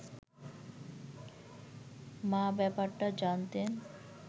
মা ব্যাপারটা জানতেন